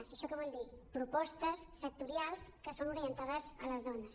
i això què vol dir propostes sectorials que són orientades a les dones